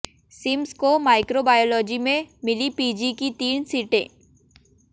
CIMS को microbiology में मिली पीजी की तीन सीटें